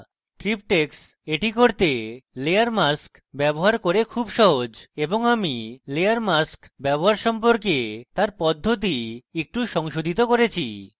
triptychs করতে layer mask ব্যবহার করে খুব সহজ এবং আমি layer mask ব্যবহার সম্পর্কে তার পদ্ধতি একটু সংশোধিত করেছি